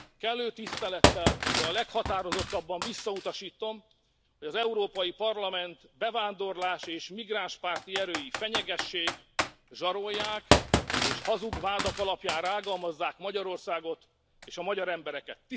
Kellő tisztelettel, de a leghatározottabban visszautasítom, hogy az Európai Parlament bevándorlás és migránspárti erői fenyegessék, zsarolják és hazug vádak alapján rágalmazzák Magyarországot és a magyar embereket.